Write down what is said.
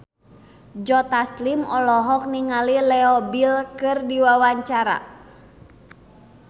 Joe Taslim olohok ningali Leo Bill keur diwawancara